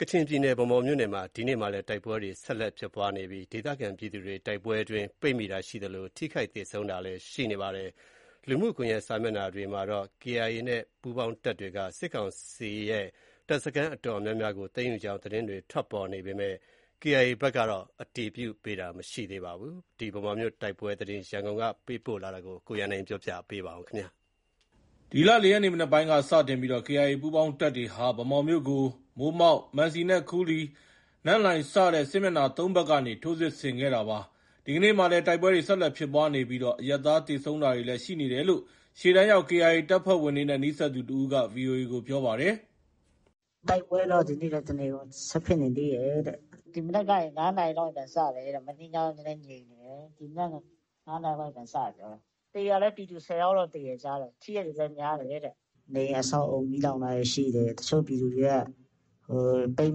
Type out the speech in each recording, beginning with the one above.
ကချင်ပြည်နယ် ဗန်းမော်မြို့မှာ ဒီကနေ့မှာလည်းတိုက်ပွဲတွေ ဆက်ဖြစ်နေပြီး ဒေသခံပြည်သူတွေ တိုက်ပွဲအတွင်း ပိတ်မိတာရှိသလို ထိခိုက်သေဆုံးတာလည်း ရှိနေပါတယ်။ လူမှုကွန်ရက် စာမျက်နှာတွေမှာတော့ KIA နဲ့ ပူးပေါင်းတပ်တွေကစစ်ကောင်စီရဲ့ တပ်စခန်း အတော်များများကို သိမ်းယူကြောင်း သတင်းတွေထွက်ပေါ်နေပေမဲ့ KIA ဘက်ကတော့အတည်ပြုတာမရှိသေးပါဘူး။ ဗန်းမော်မြို့တိုက်ပွဲသတင်း ရန်ကုန်က ပေးပို့ထားတာကို ကိုရန်နိုင်က တင်ပြပေးထားပါတယ်။ ဒီလ ၄ ရက်နေ့ မနက်ပိုင်းက စတင်ပြီး KIA ပူးပေါင်းတပ်တွေဟာ မိုးမောက်၊ မံစီနဲ့ ခူးလီ၊ နန့်လိုင်စတဲ့ စစ်မျက်နှာ ၃ ဘက်ကနေ ဗန်းမော်မြို့ကို ထိုးစစ်ဆင်နေခဲ့တာပါ။ ဒီကနေ့မှာလည်း တိုက်ပွဲတွေ ဆက်လက်ဖြစ်ပွားနေပြီး အရပ်သားသေဆုံးတာတွေလည်း ရှိနေတယ်လို့ ရှေ့တန်းရောက် KIA တပ်ဖွဲ့ဝင်တွေနဲ့ နီးစပ်သူတဦးက VOA ကို ပြောပါတယ်။ “တိုက်ပွဲတော့ ဒီနေ့လည်း တနေကုန် ဆက်ဖြစ်နေသေးတယ်တဲ့။ ဒီမနက်ကနေ ၅ နာရီလောက်နေ ပြန်စတယ်တဲ့။ မနေ့ညက နည်းနည်းငြိမ်နေတယ်။ ဒီမနက် ၅ နာရီကနေ ပြန်စတယ်ပြောတယ်။ သေတာလည်း ပြည်သူ ၁၀ ယောက်လောက်သေတယ် ကြားတယ်။ ထိတဲ့သူလည်း များတယ်တဲ့။ နေအိမ်အဆောက်အဦး မီးလောင်တာတွေ ရှိတယ်။ တချို့ပြည်သူတွေက ပိတ်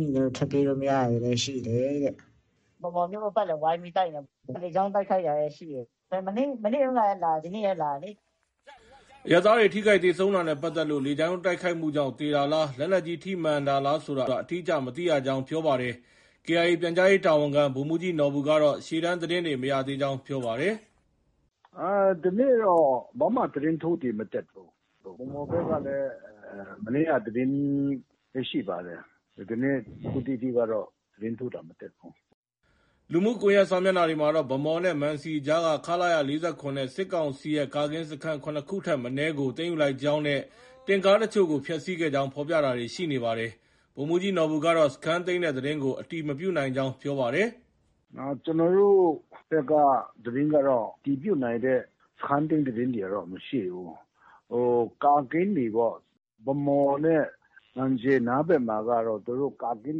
မိနေလို့ ထွက်ပြေးလို့ မရတာတွေလည်း ရှိတယ်တဲ့။ ဗန်းမော်မြို့ ပတ်ပတ်လည် ဝိုင်းပြီးတိုက်နေတာ။ လေကြောင်း တိုက်ခိုက်တာတွေလည်း ရှိတယ်။ မနေ့တုန်းကလည်းလာတယ်။ ဒီနေ့လည်း လာတယ်လေ။” အရပ်သားတွေ ထိခိုက်သေဆုံးတာနဲ့ပတ်သက်လို့ လေကြောင်းတိုက်ခိုက်မှုကြောင့်သေတာလား၊ လက်နက်ကြီး ထိမှန်တာလားဆိုတာကို အတိအကျ မသိရကြောင်း ပြောပါတယ်။KIA ပြန်ကြားရေး တာဝန်ခံ ဗိုလ်မှူးကြီးနော်ဘူကတော့ရှေ့တန်းသတင်းတွေ မရသေးကြောင်း ပြောပါတယ်။ “ဒီနေ့တော့ ဘာမှ သတင်းထူးတွေ မတက်ဘူး။ ဗန်းမော်ဘက်ကလည်း မနေ့က သတင်းပဲ ရှိပါတယ်။ ဒီကနေ့ အခုထိကတော့ ဘာမှ သတင်းထူးတာ မတက်ဘူး။” လူမှုကွန်ရက်စာမျက်နှာတွေမှာတော့ ဗန်းမော်နဲ့ မံစီကြားက ခလရ ၄၇ နဲ့ စစ်ကောင်စီရဲ့ ကာကင်း စခန်း ၇ ခုထက်မနည်း ကို သိမ်းယူလိုက်ကြောင်းနဲ့ တင့်ကားအချို့ကို ဖျက်ဆီးခဲ့ကြောင်း ဖော်ပြတာတွေ ရှိနေပါတယ်။ ဗိုလ်မှူးကြီးနော်ဘူကတော့ စခန်းသိမ်းတဲ့သတင်းကို အတည်မပြုနိုင်ကြောင်း ပြောပါတယ်။ “ကျနော်တို့ဘက်ကသတင်းကတော့ အတည်ပြုနိုင်တဲ့ စခန်းသိမ်းသတင်းတွေကတော့ မရှိဘူး။ ဟို ကာကင်းတွေပေါ့။ဗန်းမော်နဲ့ မံစီနားဘက်မှာ သူတို့ ကာကင်း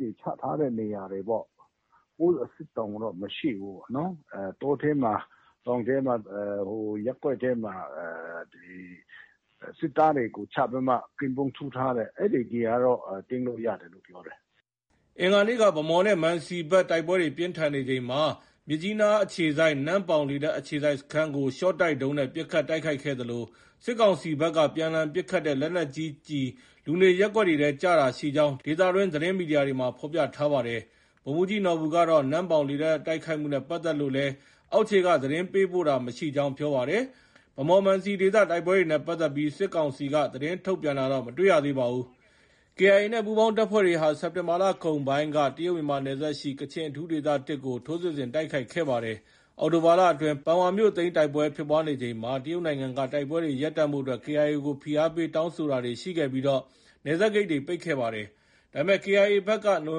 တွေ ချထားတဲ့နေရာတွေပေါ့။ Post အဆင့်တောင် မရှိဘူး။ တောထဲမှာတောင်ထဲမှာ ရပ်ကွက်ထဲမှာ စစ်သားတွေကို ချပြီးမှ ကင်းပုန်းထိုးထားတဲ့ အဲဒီနေရာတွေကတော့ သိမ်းလို့ ရတယ်လို့ပြောတယ်။” အင်္ဂါနေ့က ဗန်းမော်နဲ့ မံစီဘက် တိုက်ပွဲပြင်းထန်ချိန်မှာ မြစ်ကြီးနားအခြေစိုက် နမ့်ပေါင်လေတပ် အခြေစိုက်စခန်းကိုရှော့တိုက်ဒုံးနဲ့ ပစ်ခတ်တိုက်ခိုက်ခဲ့သလို စစ်ကောင်စီဘက်က ပြန်လှန်ပစ်ခတ်တဲ့ လက်နက်ကြီးကျည် လူနေရပ်ကွက်ထဲကျတာရှိကြောင်း ဒေသတွင်း သတင်းမီဒီယာတွေမှာ ဖော်ပြထားပါတယ်။ ဗိုလ်မှူးကြီးနော်ဘူကတော့ နမ့်ပေါင်လေတပ်တိုက်ခိုက်မှုနဲ့ပတ်သက်လို့လည်း အောက်ခြေက သတင်းပို့တာတာ မရှိကြောင်း ပြောပါတယ်။ ဗန်းမော်- မံစီဒေသ တိုက်ပွဲတွေနဲ့ပတ်သက်ပြီး စစ်ကောင်စီက သတင်းထုတ်ပြန်တာတော့ မတွေ့ရပါဘူး။ KIA နဲ့ ပူးပေါင်းတပ်ဖွဲ့တွေဟာ စက်တင်ဘာလကုန်ပိုင်းက တရုတ်မြန်မာနယ်စပ်ရှိ ကချင်အထူးဒေသ ကို ထိုးစစ်ဆင်တိုက်ခိုက်ခဲ့ပါတယ်။ အောက်တိုဘာလအတွင်း ပန်ဝါမြို့သိမ်းတိုက်ပွဲ ဖြစ်နေချိန်မှာ တိုက်ပွဲတွေရပ်တန့်ဖို့အတွက်တရုတ်နိုင်ငံက KIA ကို ဖိအားပေးတောင်းဆိုတာတွေရှိခဲ့ပြီး နယ်စပ်ဂိတ်တွေ ပိတ်ခဲ့ပါတယ်။ ဒါပေမဲ့ KIA ဘက်ကနိုဝ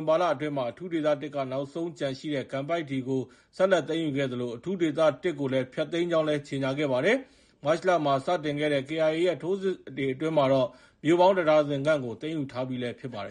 င်ဘာလအတွင်းမှာ အထူးဒေသ က နောက်ဆုံးကျန်ရှိတဲ့ ကန်ပိုက်တီကို ဆက်လက် သိမ်းယူခဲ့သလို အထူးဒေသ ကို ဖျက်သိမ်းကြောင်းလည်း ကြေညာခဲ့ပါတယ်။ မတ်လမှာ စတင်ခဲ့တဲ့ KIA ရဲ့ထိုးစစ်အတွင်းမှာတော့ မြို့ပေါင်း တဒါဇင်ခန့်ကို သိမ်းယူထားပြီးလည်း ဖြစ်ပါတယ်